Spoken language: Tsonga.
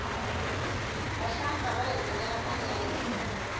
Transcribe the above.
vahlampfa vahi tekela mali ya hina